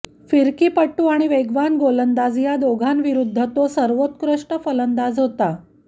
फिरकीपटू आणि वेगवान गोलंदाज या दोघांविरुद्ध तो सर्वोत्कृष्ट फलंदाज होता